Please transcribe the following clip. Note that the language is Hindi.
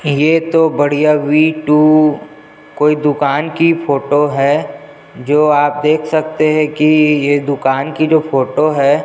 ये तो बढ़िया वी टू कोई दुकान की फोटो है जो आप देख सकते है की ये दुकान की जो फोटो है।